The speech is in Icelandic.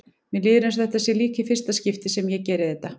Mér líður eins og þetta sé líka í fyrsta skipti sem ég geri þetta.